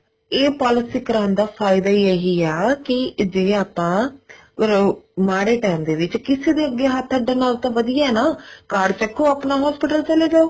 ਇਹ policy ਕਰਾਉਣ ਦਾ ਫਾਇਦਾ ਹੋ ਇਹੀ ਆ ਕੀ ਜਿਵੇਂ ਆਪਾਂ ਅਮ ਮਾੜੇ ਟੇਮ ਦੇ ਵਿੱਚ ਕਿਸੇ ਦੇ ਅੱਗੇ ਹੱਥ ਅੱਡਣ ਨਾਲੋ ਤਾਂ ਵਧੀਆ ਹੈ card ਚੱਕੋ ਆਪਣਾ hospital ਚਲੇ ਜਾਓ